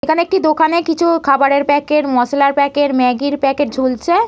এখানে একটি দোকানে কিছু খাবারের প্যাকেট মশলার প্যাকেট ম্যাগি এর প্যাকেট ঝুলছে।